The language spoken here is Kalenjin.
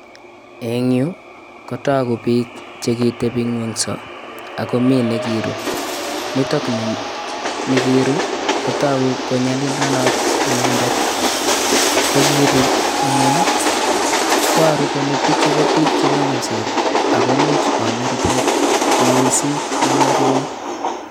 Eng' yu kotagu piik chekitepi ing'weng'so akomii nekiruu nitoni nekiruu kotogu kole nyalulenot inendet kogiru ing'weng' iporu kole pichu ko piik Che nyalilsot ako much koame rupet mising' no ruey.